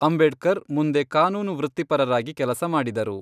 ಅಂಬೇಡ್ಕರ್ ಮುಂದೆ ಕಾನೂನು ವೃತ್ತಿಪರರಾಗಿ ಕೆಲಸ ಮಾಡಿದರು.